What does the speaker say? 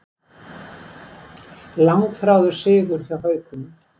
Langþráður sigur hjá Haukunum